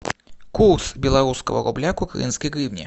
курс белорусского рубля к украинской гривне